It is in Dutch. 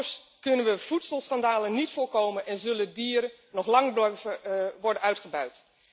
Anders kunnen we voedselschandalen niet voorkomen en zullen dieren nog lang worden uitgebuit.